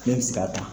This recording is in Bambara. Ne bɛ se k'a ta